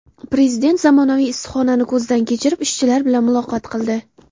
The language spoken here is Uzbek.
Prezident zamonaviy issiqxonani ko‘zdan kechirib, ishchilar bilan muloqot qildi.